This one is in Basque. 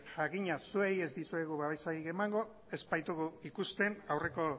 jakina zuei ez dizuegu babesarik emango ez baitugu ikusten aurreko